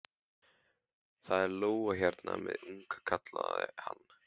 Það er lóa hérna með unga, kallaði hann.